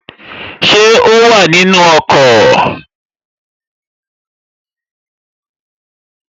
Ṣé o wà nínu ọkọ̀?